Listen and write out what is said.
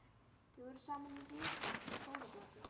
Við vorum saman í ritnefnd skólablaðsins.